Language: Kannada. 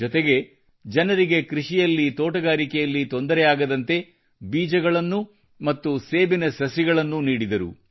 ಜೊತೆಗೆ ಜನರಿಗೆ ಕೃಷಿಯಲ್ಲಿ ತೋಟಗಾರಿಕೆಯಲ್ಲಿ ತೊಂದರೆಯಾಗದಂತೆ ಬೀಜಗಳನ್ನು ಮತ್ತು ಸೇಬಿನ ಸಸಿಗಳನ್ನು ನೀಡಿದರು